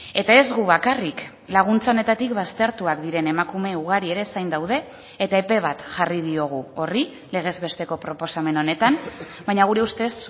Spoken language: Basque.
eta ez gu bakarrik laguntza honetatik baztertuak diren emakume ugari ere zain daude eta epe bat jarri diogu horri legez besteko proposamen honetan baina gure ustez